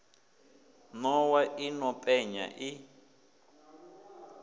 nowa yo no penya i